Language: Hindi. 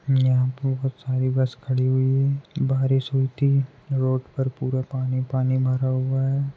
यहाँ पर बहुत सारी बस खड़ी हुई है बारिश हुई थी रोड पर पुरा पानी पानी भरा हुआ है।